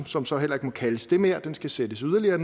som så heller ikke må kaldes det mere skal sættes yderligere